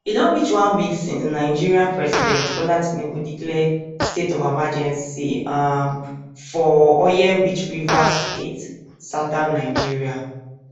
e don reach one week since nigeria president bola tinubu declare state of emergency um for oil rich rivers state southern nigeria